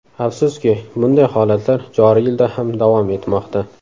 Afsuski, bunday holatlar joriy yilda ham davom etmoqda.